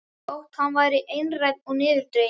Þótt hann væri einrænn og niðurdreginn.